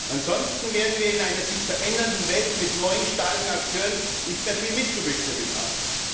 Ansonsten werden wir in einer sich verändernden Welt mit neuen starken Akteuren nicht mehr viel mitzubestimmen haben.